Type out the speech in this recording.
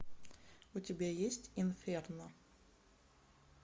у тебя есть инферно